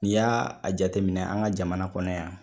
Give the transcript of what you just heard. N y'a a jateminɛ an ka jamana kɔnɔ yan